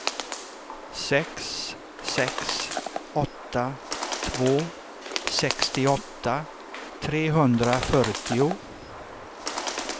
sex sex åtta två sextioåtta trehundrafyrtio